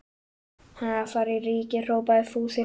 Hann er að fara í Ríkið! hrópaði Fúsi hlæjandi.